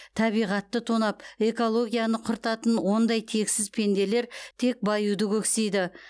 табиғатты тонап экологияны құртатын ондай тексіз пенделер тек баюды көксейді